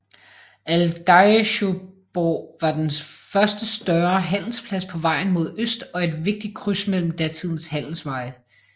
Aldeigjuborg var den første større handelsplads på vejen mod øst og et vigtigt kryds mellem datidens handelsveje